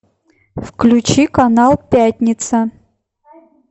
включи канал пятница